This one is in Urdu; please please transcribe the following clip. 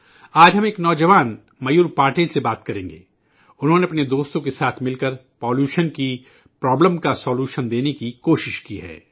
آج ہم ایک نوجوان میور پاٹل سے بات کریں گے، انہوں نے اپنے دوستوں کے ساتھ مل کر آلودگی کے مسئلے کا حل نکالنے کی کوشش کی ہے